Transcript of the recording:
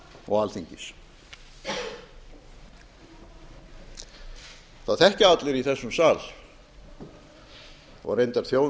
og alþingis það þekkja allir í þessum sal og reyndar þjóðin